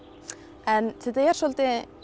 en þetta er svolítið